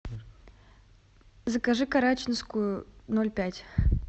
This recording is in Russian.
закажи карачинскую ноль пять